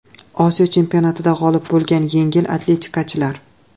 Osiyo chempionatida g‘olib bo‘lgan yengil atletikachilar.